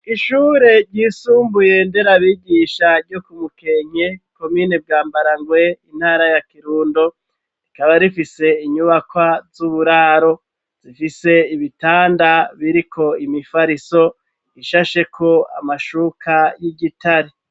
Ishure ryisumbuye nderabigisha ryo ku mukenke komine bwa Mbwarangwe intara ya Kirundo rikaba rifise inyubakwa z'uburaro zifise ibitanda biriko imifariso ishasheko amashuka y'igitare.